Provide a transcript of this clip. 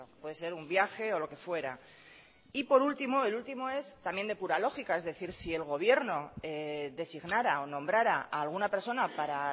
puede ser un viaje o lo que fuera y por último el último es también de pura lógica es decir si el gobierno designara o nombrara a alguna persona para